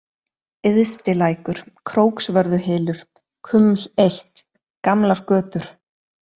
Yðsti-Lækur, Króksvörðuhylur, Kuml I, Gamlar götur